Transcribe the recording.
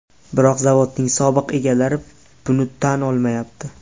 Biroq zavodning sobiq egalari buni tan olmayapti.